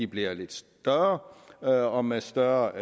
bliver lidt større og og med større